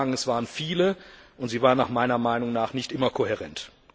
Ich will nur sagen, es waren viele, und sie waren meiner Meinung nach nicht immer kohärent.